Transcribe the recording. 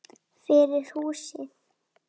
Fyrir húsið.